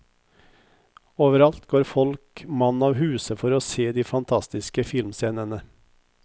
Overalt går folk mann av huse for å se de fantastiske filmscenene.